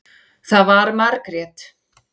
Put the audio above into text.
Það var Margrét.